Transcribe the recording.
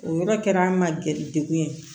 O yɔrɔ kɛra an ma gɛrɛ degun ye